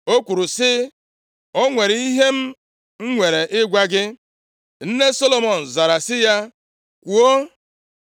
O kwuru sị, “O nwere ihe m nwere ịgwa gị.” Nne Solomọn zara sị ya, “Kwuo.”